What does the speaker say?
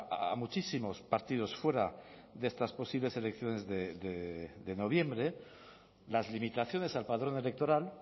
a muchísimos partidos fuera de estas posibles elecciones de noviembre las limitaciones al padrón electoral